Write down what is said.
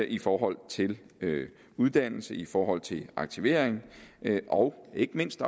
i forhold til uddannelse i forhold til aktivering og ikke mindst